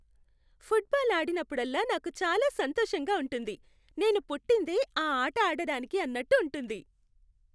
Football ఆడినప్పుడల్లా నాకు చాలా సంతోషంగా ఉంటుంది. నేను పుట్టిందే ఆ ఆట ఆడడానికి అన్నట్టు ఉంటుంది.